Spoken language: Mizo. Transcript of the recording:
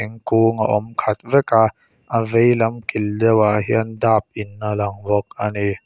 kung a awm khat vek a a veilam kil deuhah hian dap in a lang bawk a ni.